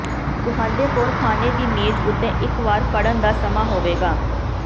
ਤੁਹਾਡੇ ਕੋਲ ਖਾਣੇ ਦੀ ਮੇਜ਼ ਉੱਤੇ ਇਕ ਵਾਰ ਪੜ੍ਹਨ ਦਾ ਸਮਾਂ ਹੋਵੇਗਾ